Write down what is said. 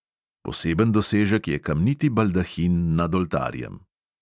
Poseben dosežek je kamniti baldahin nad oltarjem.